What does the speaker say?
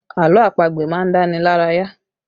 Àlọ́ àpagbè má ń dá ni lára yá